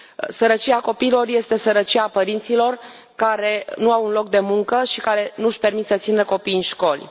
Sărăcia copiilor este sărăcia părinților care nu au un loc de muncă și care nu își permit să își țină copiii în școli.